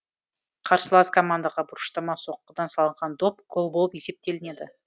қарсылас командаға бұрыштама соққыдан салынған доп гол болып есептелінеді